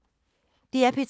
DR P3